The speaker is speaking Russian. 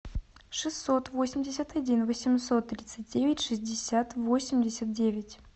шестьсот восемьдесят один восемьсот тридцать девять шестьдесят восемьдесят девять